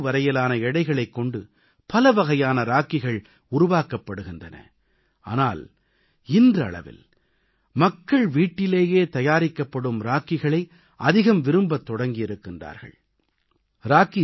பருத்தி முதல் பட்டு வரையிலான இழைகளைக் கொண்டு பலவகையான ராக்கிகள் உருவாக்கப்படுகின்றன ஆனால் இன்றளவில் மக்கள் வீட்டிலேயே தயாரிக்கப்படும் ராக்கிகளை அதிகம் விரும்பத் தொடங்கியிருக்கிறார்கள்